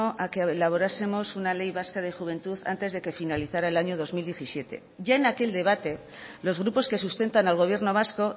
a que elaborásemos una ley vasca de juventud antes de que finalizara el año dos mil diecisiete ya en aquel debate los grupos que sustentan al gobierno vasco